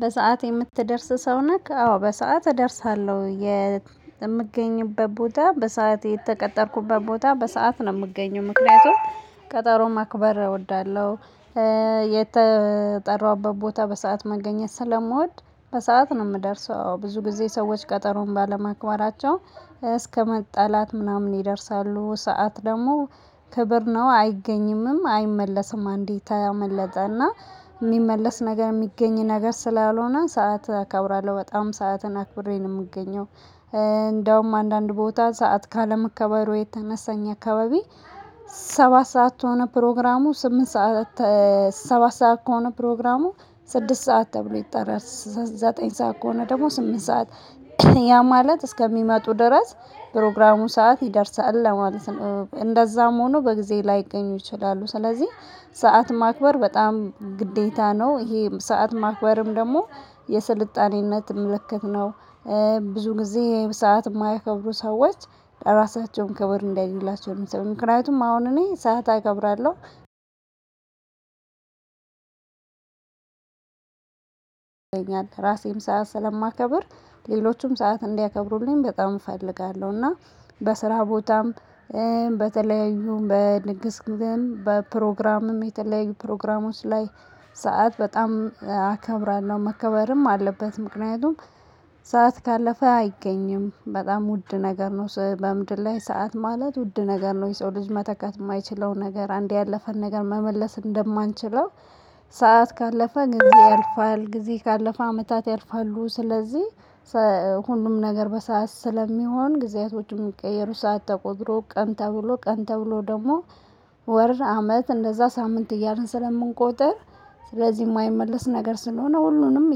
በሰአት የምትደረስ ሰው ነህ? አዎ በሰአት እደርሳለሁ የምገኝበት ቦታ በሰአት የተቀጠርኩበት ቦታ በሰአት ነው እምገኘው ምክንያቱም ቀጠሮ ማክበር እወዳለሁ። የተጠራውበት ቦታ በሰአት መገኘት ስለምወድ በሰአት ነው እምደርሰው ብዙ ጊዜ ሰዎች ቀጠሮን ባለማክበራቸው እስከመጣላት ምናምን ይደርሳሉ ሰዓት ደግሞ ክብር ነው አይገኝምም አይመለስም። አንዴ ካመለጠ እና እሚመለስ ነገር እሚገኝ ነገር ስላልሆነ ሰዓት አከብራለሁ በጣም ሰዓትን አክብሬ ነው እምገኘው። እንዲያውም አንዳንድ ቦታ ሰዓት ካለመከበሩ የተነሳ እኛ አካባቢ። ሰባት ሰዓት ከሆነ ፕሮግራሙ ስምንት ሰዓት። ሰባት ሰዓት ከሆነ ፕሮግራሙ ስድስት ሰዓት ተብሎ ይጠራል። ዘጠኝ ሰዓት ከሆነ ደግሞ ስምንት ሰዓት። ያ ማለት እስከሚመጡ ድረስ ፕሮግራሙ ሰዓት ይደርሳል ለማለት ነው። እንደዛም ሆኖ በጊዜ ላይገኙ ይችላሉ። ስለዚህ ሰዓት ማክበር በጣም ግዴታ ነው። ይሄ ሰዓት ማክበርም ደግሞ የስልጣኔነት ምልክት ነው። ብዙ ጊዜ ሰዓት እማያከብሩ ሰዎች ራሳቸውን ክብር እንዲያዩላቸው እሚሰሩት ምክንያቱም አሁን እኔ ሰዓት አከብራለሁ። ይገኛል ራሴም ሰዓት ስለማከብር ሌሎችም ሰዓት እንዲያከብሩልኝ በጣም እፈልጋለሁ። እና በስራ ቦታም በተለያዩ በንግስ ግዜም በፕሮግራምም በተለያዩ ፕሮግራሞች ላይ። ሰዓት በጣም አከብራለሁ መከበርም አለበት። ምክንያቱም ሰዓት ካለፈ አይገኝም በጣም ውድ ነገር ነው። በምድር ላይ ሰዓት ማለት ውድ ነገር ነው። የሰው ልጅ መተካት እማይችለው ነገር አንዴ ያለፈን ነገር መመለስ እንደማንችለው። ካለፈ ጊዜ ያልፋል ጊዜ ካለፈ አመታት ያልፋሉ። ስለዚህ ሁሉም ነገር በሰአት ስለሚሆን ጊዜያቶችም እሚቀየሩ ሰዓት ተቆጥሮ ቀን ተብሎ ቀን ተብሎ ደግሞ ወር አመት እንደዛ ሳምንት እያልን ስለምንቆጥር። ስለዚህ እማይመለስ ነገር ስለሆነ ሁሉንም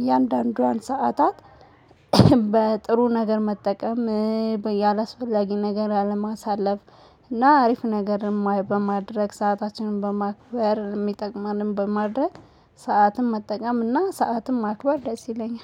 እያንዳንዷን ሰዓታት። በጥሩ ነገር መጠቀም። በየ አላስፈላጊ ነገር አለማሳለፍ። እና አሪፍ ነገር በማድረግ ሰአታችንን በማክበር እሚጠቅመንን በማድረግ። ሰዓትን መጠቀም እና ሰዓትን ማክበር ደስ ይለኛል